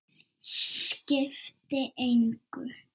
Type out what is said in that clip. Skipti engu.